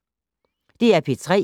DR P3